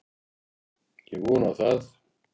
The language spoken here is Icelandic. Ég vona það.